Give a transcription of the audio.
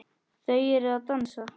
Þau eru að dansa